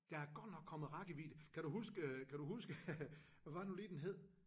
Der er godt nok kommet rækkevidde kan du huske øh kan du huske hvad var det nu lige den hed